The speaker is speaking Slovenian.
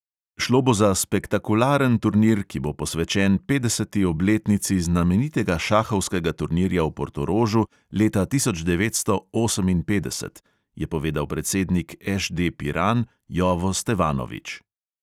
"Šlo bo za spektakularen turnir, ki bo posvečen petdeseti obletnici znamenitega šahovskega turnirja v portorožu leta tisoč devetsto oseminpetdeset," je povedal predsednik ŠD piran jovo stevanovič.